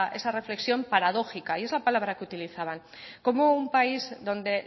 esa reflexión paradójica y es la palabra que utilizaban cómo un país donde